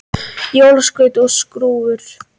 Jólaskraut og skrúfur